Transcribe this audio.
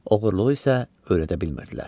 Oğurluğu isə öyrədə bilmirdilər.